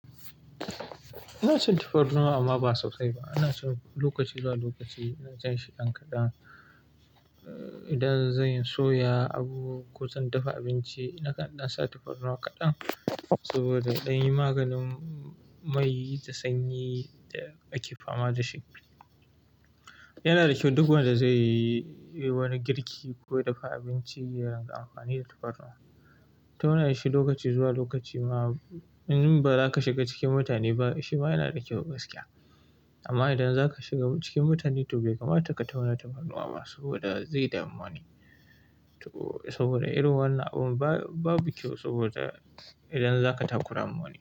Ina son tufarnuwa amma ba sosai ba. Ina so lokaci zuwa lokaci in cin shi ɗan kaɗan. Idan zan soya abu ko zan dafa abinci na ƙanɗa sa tufarnuwa kaɗan saboda zan yi maganin mai da sanyi da ake fama da shi. Yana da kyau duk wanda zai yi wani girki ko ya dafa abinci ya yi amfani da tufarnuwa. Tauna shi lokaci zuwa lokaci ma in ba za ka shiga cikin mutane ba shi ma yana da kyau gaskiya. Amma idan za ka shiga cikin mutane to bai kamata ka tauna tufarnuwa ba saboda zai dami wani. Saboda irin wannan abin babu kyau saboda idan za ka takura ma wani.